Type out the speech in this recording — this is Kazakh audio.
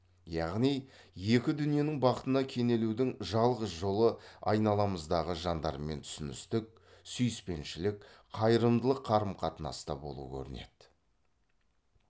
яғни екі дүниенің бақытына кенелудің жалғыз жолы айналамыздағы жандармен түсіністік сүйіспеншілік қайырымдылық қарым қатынаста болу көрінеді